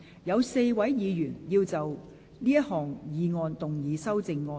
有4位議員要就這項議案動議修正案。